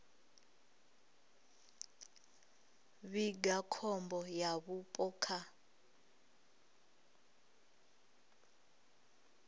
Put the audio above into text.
vhiga khombo ya vhupo kha